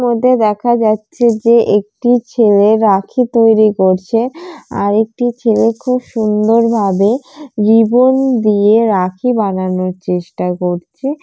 এরই মধ্যে দেখা যাচ্ছে যে একটি ছেলে রাখি তৈরি করছে আরেকটি ছেলে খুব সুন্দরভাবে জীবন দিয়ে রাখি বানানো চেষ্টা করছে ।